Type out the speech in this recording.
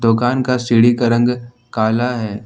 दुकान का सीढ़ी का रंग काला है।